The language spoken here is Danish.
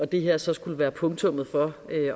det her så skulle være punktummet for